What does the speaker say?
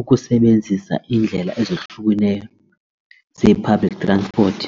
ukusebenzisa iindlela ezohlukeneyo zee-public transport.